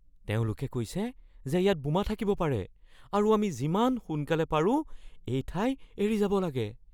তেওঁলোকে কৈছে যে ইয়াত বোমা থাকিব পাৰে আৰু আমি যিমান সোনকালে পাৰোঁ এই ঠাই এৰি যাব লাগে।